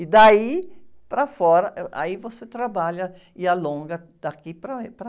E daí, para fora, eh, aí, você trabalha e alonga daqui para, para...